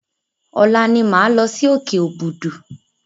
Ọ̀la ni máa lọ sí òkè Òbùdù.